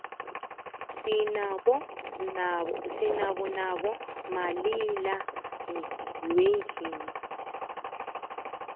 sinabo nabo malila nyendlini